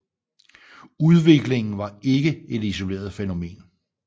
Udviklingen var ikke et isoleret fænomen